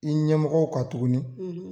I ɲɛmɔgɔw kan tuguni